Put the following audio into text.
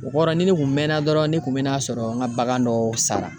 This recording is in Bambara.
O kɔrɔ ni ne kun mɛnna dɔrɔn ne kun be n'a sɔrɔ n ka bagan dɔ sara.